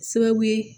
Sababu ye